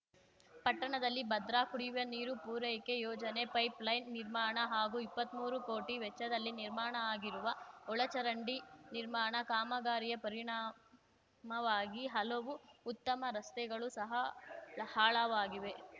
ಪಟ್ಟಣದಲ್ಲಿ ಭದ್ರಾ ಕುಡಿಯುವ ನೀರು ಪೂರೈಕೆ ಯೋಜನೆ ಪೈಪ್‌ಲೈನ್‌ ನಿರ್ಮಾಣ ಹಾಗೂ ಇಪ್ಪತ್ಮೂರು ಕೋಟಿ ವೆಚ್ಚದಲ್ಲಿ ನಿರ್ಮಾಣ ಆಗಿರುವ ಒಳಚರಂಡಿ ನಿರ್ಮಾಣ ಕಾಮಗಾರಿಯ ಪರಿಣಾಮವಾಗಿ ಹಲವು ಉತ್ತಮ ರಸ್ತೆಗಳು ಸಹ ಹಾಳಾವಾಗಿವೆ